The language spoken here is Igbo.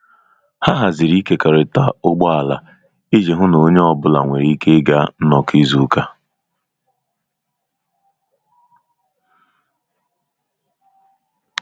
Ha haziri ịkekọrịta ụgbọala iji hụ na onye ọ bụla nwere ike ịga nnọkọ izu ụka.